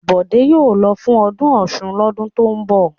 Bọ̀dé yóò lọ fún ọdún Ọ̀ṣun lọ́dún tó ń bọ̀!